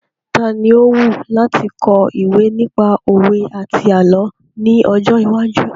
Tani ó wù láti kọ ìwé nípa òwe àti àlọ́ ní ọjọ́ iwájú?